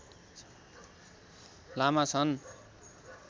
लामा छन्